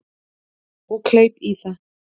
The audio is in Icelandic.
Og kleip í það.